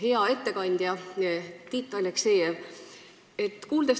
Hea ettekandja Tiit Aleksejev!